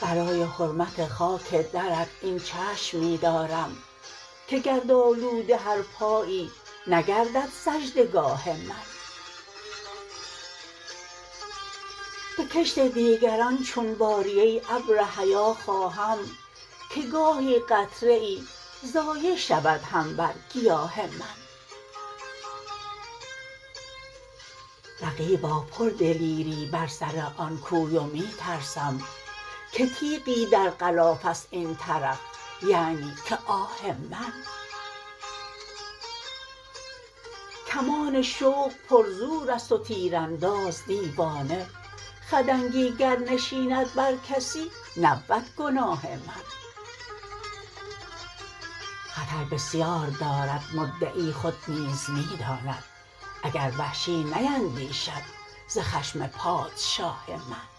برای حرمت خاک درت این چشم می دارم که گرد آلوده هر پایی نگردد سجده گاه من به کشت دیگران چون باری ای ابر حیا خواهم که گاهی قطره ای ضایع شود هم بر گیاه من رقیبا پر دلیری بر سر آن کوی و می ترسم که تیغی در غلافست این طرف یعنی که آه من کمان شوق پر زور است و تیر انداز دیوانه خدنگی گر نشیند بر کسی نبود گناه من خطر بسیار دارد مدعی خود نیز می داند اگر وحشی نیندیشد ز خشم پادشاه من